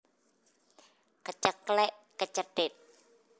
Keceklek kecethit